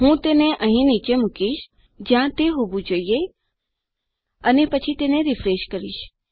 હું તેને અહીં નીચે મુકીશ જ્યાં તે હોવું જોઈએ અને પછી તેને રીફ્રેશ કરીશ